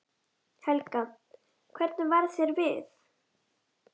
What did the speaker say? Helga: Hvernig varð þér við?